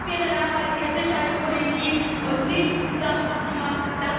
Das wäre nachhaltige Sicherheitspolitik und nicht das, was Sie machen.